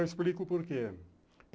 Eu explico o porquê.